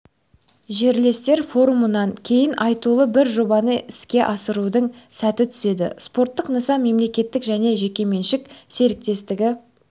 жерлестер форумынан кейін айтулы бір жобаны іске асырудың сәті түседі спорттық нысан мемлекеттік және жекеменшік серіктестігі